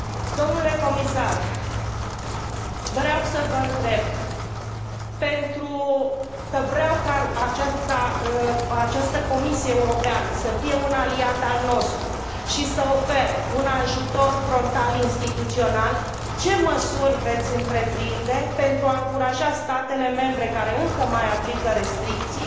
Domnule comisar, vreau să vă întreb, pentru că vreau ca această Comisie Europeană să fie un aliat al nostru și să ofere un ajutor frontal instituțional, ce măsuri veți întreprinde pentru a încuraja statele membre care încă mai aplică restricții